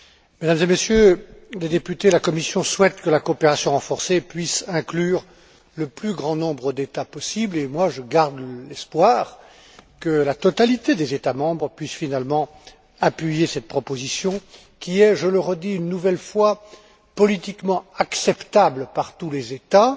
Mesdames et Messieurs les députés, la Commission souhaite que la coopération renforcée puisse inclure le plus grand nombre d'États possible, et moi, je garde l'espoir que la totalité des États membres puisse finalement appuyer cette proposition qui est, je le redis une nouvelle fois, politiquement acceptable par tous les États,